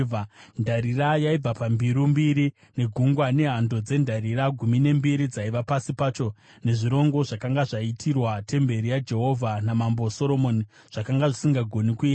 Ndarira yaibva pambiru mbiri, neGungwa, nehando dzendarira gumi nembiri dzaiva pasi pacho, nezvingoro zvakanga zvaitirwa temberi yaJehovha namambo Soromoni, zvakanga zvisingagoni kuyerwa.